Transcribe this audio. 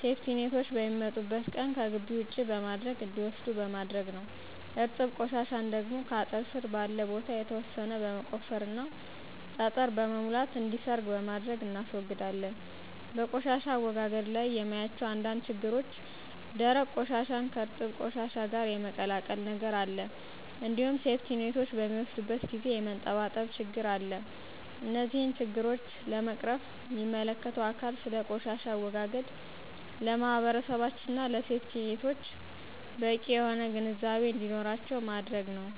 ሴፍቲኔቶች በሚመጡበት ቀን ከግቢ ውጪ በማድረግ እንዲወስዱት በማድረግ ነዉ። እርጥብ ቆሻሻን ደግሞ ከአጥር ስር ባለ ቦታ የተወሰነ በመቆፈርና ጠጠር በመሙላት እንዲሰርግ በማድረግ እናስወግዳለን። በቆሻሻ አወጋገድ ላይ የማያቸው አንዳንድ ችግሮች ደረቅ ቆሻሻን ከእርጥብ ቆሻሻ ጋር የመቀላቀል ነገር አለ እንዲሁም ሴፍቲኔቶች በሚወስዱበት ጊዜ የመንጠባጠብ ችግር አለ። እነዚህን ችግሮች ለመቅረፍም ሚመለከተው አካል ስለ ቆሻሻ አወጋገድ ለማህበረሰባችን እና ለሴፍቲኔቶች በቂ የሆነ ግንዛቤ እንዲኖራቸው ማድረግ ነዉ።